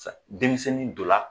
Sisan denmisɛnnin don na